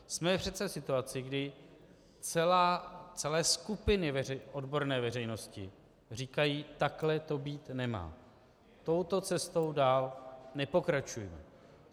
Jsme přece v situaci, kdy celé skupiny odborné veřejnosti říkají: takhle to být nemá, touto cestou dál nepokračujme.